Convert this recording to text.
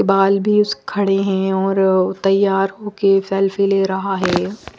बाल भी उस खड़े हैं और तैयार होके सेल्फी ले रहा है।